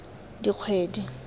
dikgwedi